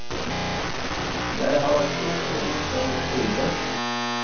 Jeg har et stort behov for å skrive.